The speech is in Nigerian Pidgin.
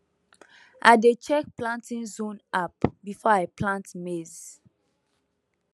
i dey check planting zone app before i plant maize